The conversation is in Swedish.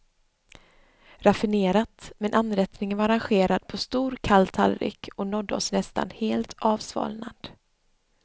Raffinerat, men anrättningen var arrangerad på stor kall tallrik och nådde oss nästan helt avsvalnad.